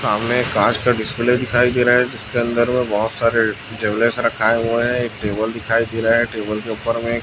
सामने एक कांच का डिस्प्ले दिखाई दे रहा है जिसके अंदर मे बहोत सारे जंगले से रखाए हुए हैं एक टेबल दिखाई दे रहा है टेबल के ऊपर में--